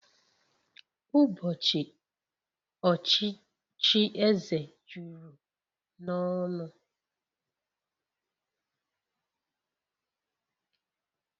Ụbọchị ochichi eze juru n'ọnụ